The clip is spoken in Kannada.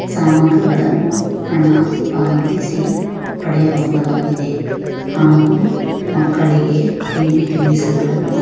ಸಾಮಗ್ರಿಗಳನ್ನು ಹಣ ಪಾವತಿಸಿ ಪಡೆಯಬಹುದಾಗಿದೆ ಹಾಗೂ ಮಕ್ಕಳಿಗೆ ತಿಂಡಿ ತಿನಿಸುಗಳನ್ನು.